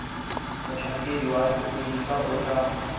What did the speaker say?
motlhankedi wa sepodisi o tla